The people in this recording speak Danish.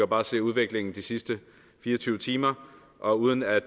bare se udviklingen de sidste fire og tyve timer og uden at